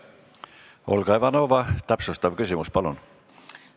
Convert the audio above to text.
Olga Ivanova, täpsustav küsimus, palun!